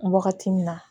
Wagati min na